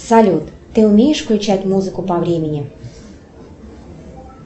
салют ты умеешь включать музыку по времени